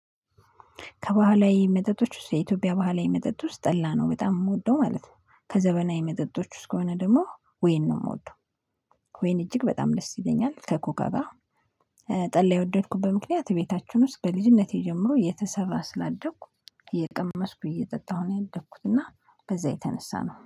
ከባህላዊ መጠጦች ውስጥ የኢትዮጵያ ባህላዊ መጠጥ ውስጥ ጠላ ነው በጣም የምወደው ማለት ነው። ከዘመናዊ መጠጦች ውስጥ ከሆነ ደግሞ ወይን ነው የምወደው። ወይን እጅግ በጣም ደስ ይለኛል ከኮካ ጋር። ጠላ የወደድኩበት ምክንያት ቤታችሁን ውስጥ በልጅነቴ ጀምሮ እየተሰራ ስላደኩ እየቀመስኩ እየጠጣሁ ነው ያደግኩት እና ከዛ የተነሳ ነው